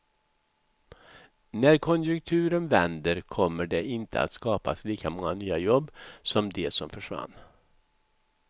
När konjunkturen vänder kommer det inte att skapas lika många nya jobb som de som försvann.